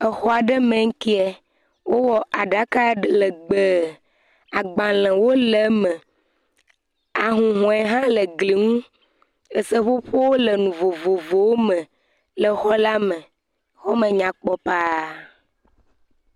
Exɔ aɖe me ŋkie, wowɔ aɖaka legbee, agbalẽwo le me, ahuhɔe hã le gli ŋu, eseƒoƒowo le nu vovovowo me, exɔ me nyakpɔ paa.